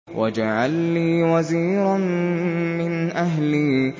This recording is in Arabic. وَاجْعَل لِّي وَزِيرًا مِّنْ أَهْلِي